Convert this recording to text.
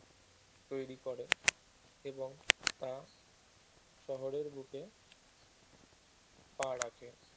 তৈরী করে এবং তা শহরের বুকে পা রাখে